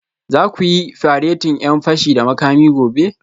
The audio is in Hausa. Za ku yi faretin 'yan fashi da makami gobe